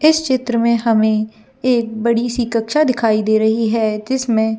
इस चित्र में हमें एक बड़ी सी कक्षा दिखाई दे रही है जिसमें --